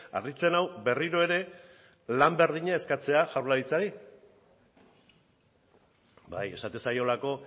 harritzen nau berriro ere lan berdina eskatzea jaurlaritzari bai esaten zaiolako